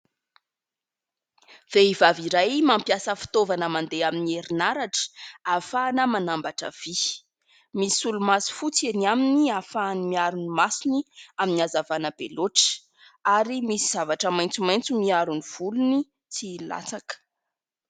Vehivavy iray mampiasa fitaovana mandeha amin'ny herinaratra ahafahana manambaotra vy. Misy solomaso fotsy eny aminy hahafahany miaro ny masony amin'ny hazavana be loatra ary misy zavatra maitso maitso miaro ny volony tsy hilatsaka.